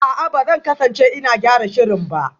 A'a, ba zan kasance ina gyara shirin ba